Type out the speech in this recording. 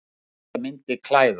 Allt þetta myndi klæða